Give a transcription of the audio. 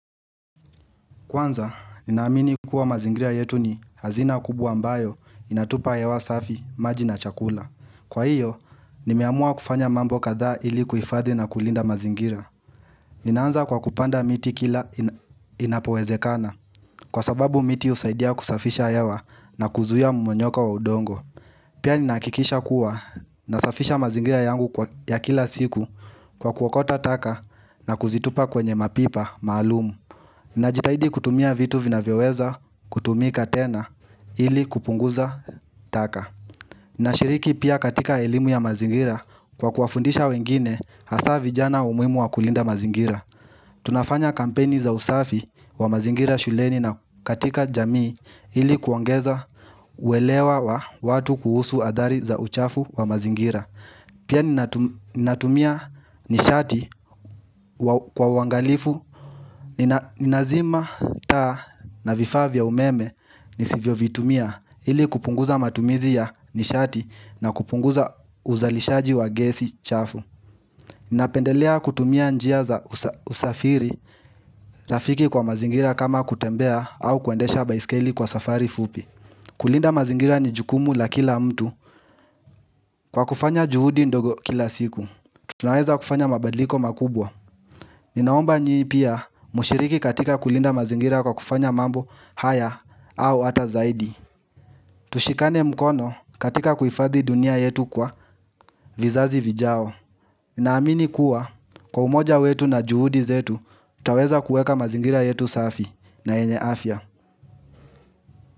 Kwanza, ninaamini kuwa mazingira yetu ni hazina kubwa ambayo inatupa hewa safi, maji na chakula. Kwa hiyo, nimeamua kufanya mambo kadhaa ili kuifadhi na kulinda mazingira. Ninaanza kwa kupanda miti kila inapowezekana, kwa sababu miti usaidia kusafisha hewa na kuzuia mmonyoko wa udongo. Pia ninaakikisha kuwa na safisha mazingria yangu ya kila siku kwa kuwokota taka na kuzitupa kwenye mapipa, maalumu. Ninajitahidi kutumia vitu vinavyoweza kutumika tena ili kupunguza taka Ninashiriki pia katika elimu ya mazingira kwa kuafundisha wengine hasaa vijana umuimu wa kulinda mazingira Tunafanya kampeni za usafi wa mazingira shuleni na katika jamii ili kuongeza uelewa wa watu kuhusu athari za uchafu wa mazingira Pia ninatumia nishati kwa uwangalifu, ninazima taa na vifaa vya umeme nisivyo vitumia Ili kupunguza matumizi ya nishati na kupunguza uzalishaji wa gesi chafu Ninapendelea kutumia njia za usafiri, rafiki kwa mazingira kama kutembea au kuendesha baiskeli kwa safari fupi kulinda mazingira ni jukumu la kila mtu kwa kufanya juhudi ndogo kila siku Tunaweza kufanya mabadliko makubwa Ninaomba nyi pia mushiriki katika kulinda mazingira kwa kufanya mambo haya au ata zaidi Tushikane mkono katika kuhifadhi dunia yetu kwa vizazi vijao Naamini kuwa kwa umoja wetu na juhudi zetu utaweza kueka mazingira yetu safi na enye afya.